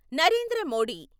Narendra Modi